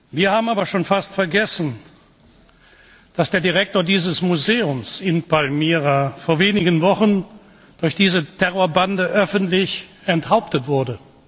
Wir haben aber schon fast vergessen, dass der Direktor dieses Museums in Palmyra vor wenigen Wochen durch diese Terrorbande öffentlich enthauptet wurde.